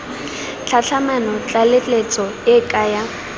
tlhatlhamano tlaleletso e ke ya